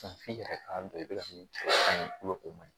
f'i yɛrɛ k'a dɔn i bɛ ka min o man ɲi